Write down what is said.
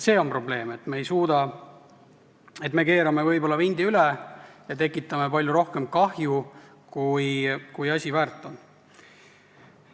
See on probleem, me keerame võib-olla vindi üle ja tekitame palju rohkem kahju, kui asi väärt on.